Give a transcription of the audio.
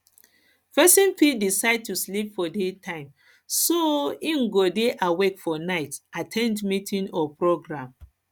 persin fit decide to sleep for day time so im go de awake for night at ten d meeting or programme